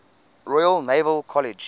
royal naval college